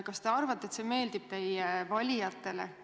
Kas te arvate, et see meeldib teie valijatele?